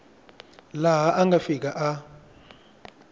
laha a nga fika a